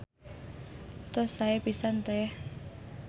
Tos sae pisan Teh.